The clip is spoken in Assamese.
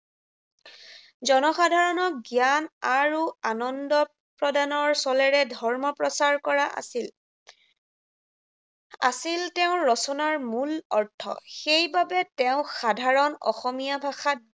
জনসাধাৰণক জ্ঞান আৰু আনন্দ প্ৰদানৰ চলেৰে ধৰ্ম প্ৰচাৰ কৰা, আছিল আছিল তেওঁৰ ৰচনাৰ মূল অৰ্থ। সেইবাবে তেওঁ সাধাৰণ অসমীয়া ভাষাত